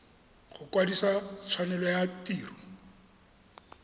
go kwadisa tshwanelo ya tiro